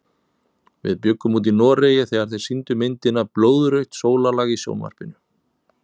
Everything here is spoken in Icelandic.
Við bjuggum úti í Noregi þegar þeir sýndu myndina Blóðrautt sólarlag í sjónvarpinu.